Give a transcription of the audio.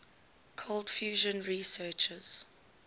cold fusion researchers